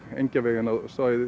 Engjavegi inn á